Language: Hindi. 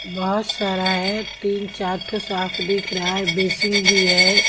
बहुत सारा है तीन-चार ठो साफ दिख रहा है बेसिन भी है।